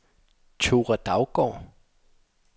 Thora Daugaard